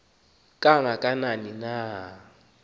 kanga kanani na